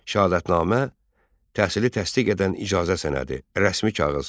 Şəhadətnamə təhsili təsdiq edən icazə sənədi, rəsmi kağız.